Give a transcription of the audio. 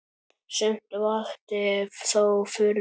Sumt vakti þó furðu.